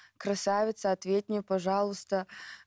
красавица ответь мне пожалуйста